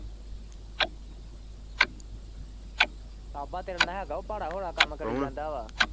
ਤੇਰੇ ਨਾਲ ਹਿਗਾ ਉਹ ਭਾਰਾ ਹੋਲਾ ਕੰਮ .